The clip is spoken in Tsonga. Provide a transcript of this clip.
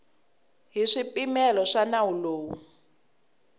hi swipimelo swa nawu lowu